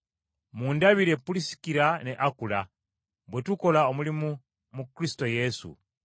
Mundabire Pulisikira ne Akula, bwe tukola omulimu mu Kristo Yesu,